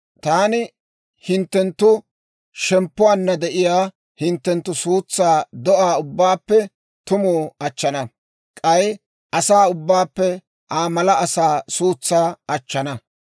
Taani hinttenttu shemppuwaanna de'iyaa hinttenttu suutsaa do'aa ubbaappe tumu achchana; k'ay asaa ubbaappe, Aa mala asaa suutsaa achchana.